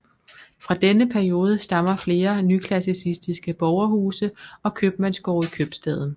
Fra denne periode stammer flere nyklassicistiske borgerhuse og købmandsgårde i købstaden